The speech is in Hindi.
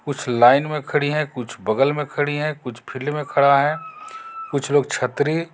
कुछ लाइन में खड़ी है कुछ बगल में खड़ी है कुछ फील्ड में खड़ा है कुछ लोग छतरी--